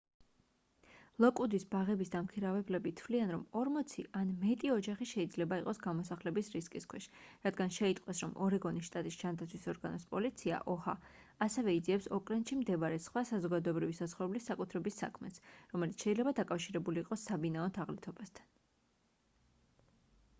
ლოკვუდის ბაღების დამქირავებლები თვლიან რომ 40 ან მეტი ოჯახი შეიძლება იყოს გამოსახლების რისკის ქვეშ რადგან შეიტყვეს რომ ორეგონის შტატის ჯანდაცვის ორგანოს პოლიცია oha ასევე იძიებს ოკლენდში მდებარე სხვა საზოგადოებრივი საცხოვრებლის საკუთრების საქმეს რომელიც შეიძლება დაკავშირებული იყოს საბინაო თაღლითობასთან